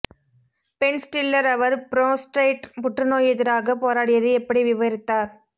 pen Stiller அவர் prostate புற்றுநோய் எதிராக போராடியது எப்படி விவரித்தார்